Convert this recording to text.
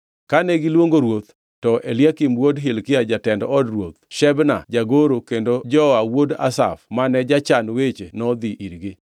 Kane giluongo ruoth, to Eliakim wuod Hilkia jatend od ruoth, Shebna jagoro kendo Joa wuod Asaf mane jachan weche nodhi irgi.